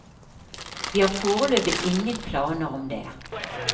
Vi har foreløpig ingen planer om det.